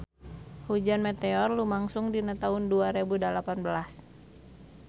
Hujan meteor lumangsung dina taun dua rebu dalapan belas